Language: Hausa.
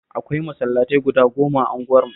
Akwai masallatai guda goma a unguwarmu